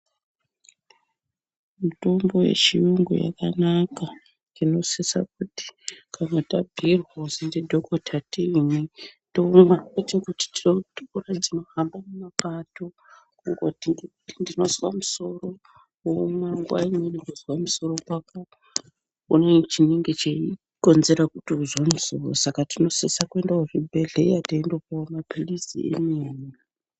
Mitombo yechiyungu yakanaka tinosisa kuti kana tabhuirwa kuzi ndidhokota tiimwe tomwa. Kwete kuti tinohamba mumapato kungoti ndinozwa musoro momwa, nguva imweni kuzwa musoro kwako une chinenge cheikonzera kuti uzwe musoro. Saka tinosisa kuenda kuzvibhehleya teindopuwa maphilizi emene.